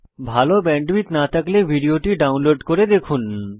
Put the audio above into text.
ভাল ব্যান্ডউইডথ না থাকলে ভিডিওটি ডাউনলোড করে দেখুন